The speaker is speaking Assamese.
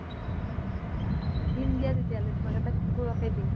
বাহঃ দিম দিয়া তেতিয়ালহে তোমাক এটা কুকুৰকে দিম।